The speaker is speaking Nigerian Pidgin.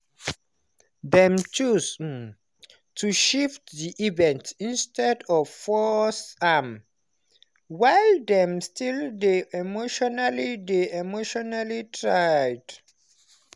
dem choose um to shift the event instead of force am while dem still dey emotionally dey emotionally tried.